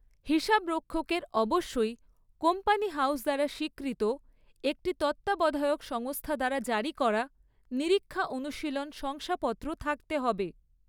হিসাবরক্ষকের অবশ্যই company house দ্বারা স্বীকৃত একটি তত্ত্বাবধায়ক সংস্থা দ্বারা জারি করা নিরীক্ষা অনুশীলন শংসাপত্র থাকতে হবে।